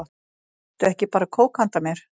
Áttu ekki bara kók handa mér?